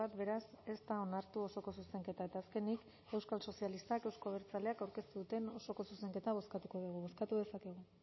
beraz ez da onartu osoko zuzenketa eta azkenik euskal sozialistak euzko abertzaleak aurkeztu duten osoko zuzenketa bozkatuko dugu bozkatu dezakegu